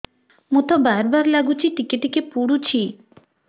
ମୁତ ବାର୍ ବାର୍ ଲାଗୁଚି ଟିକେ ଟିକେ ପୁଡୁଚି